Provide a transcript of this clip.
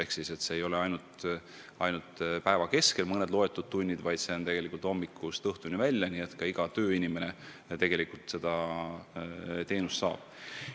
Pakki ei saa kätte ainult päeva keskel mõne tunni jooksul, vaid see võimalus on hommikust õhtuni välja, nii et ka igale tööinimesele sobib.